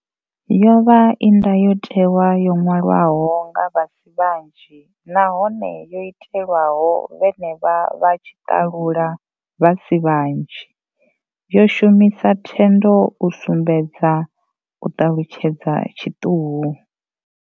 Yo vha i ndayotewa yo ṅwalwaho nga vha si vhanzhi nahone yo itelwaho vhenevho vha tshiṱalula vha si vhanzhi, yo shumisa thendo u sumbedza u ṱalutshedza tshiṱuhu.